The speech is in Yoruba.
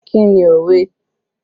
Kí ni òwe?